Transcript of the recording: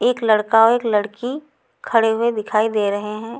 एक लड़का औ एक लड़की खड़े हुए दिखाई दे रहे हैं।